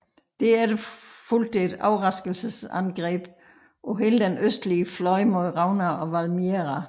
Derefter fulgte et overraskelsesangreb på hele den østlige fløj mod Rauna og Valmiera